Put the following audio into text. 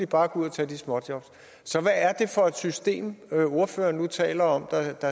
bare gå ud og tage de småjobs så hvad er det for et system ordføreren nu taler om